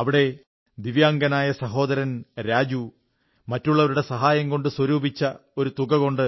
ഇവിടെ ദിവ്യാംഗനായ സഹോദരൻ രാജു മറ്റുള്ളവരുടെ സഹായംകൊണ്ടു സ്വരൂപിച്ച ഒരു തുകകൊണ്ട്